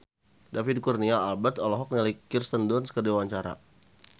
David Kurnia Albert olohok ningali Kirsten Dunst keur diwawancara